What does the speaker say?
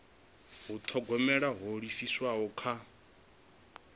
u thogomela ho livhiswaho kha